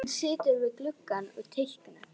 Rúnar, er opið í ÁTVR?